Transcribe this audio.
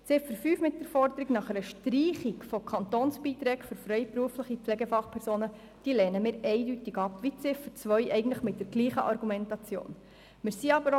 Die Ziffer 5 mit der Forderung nach einer Streichung von Kantonsbeiträgen für freiberuflich tätige Pflegefachpersonen lehnen wir eindeutig ab, eigentlich mit derselben Argumentation wie die Ziffer 2.